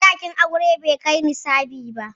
Sadakin auren bai kai nisabi ba.